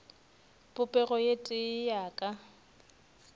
popego ye tee ya ka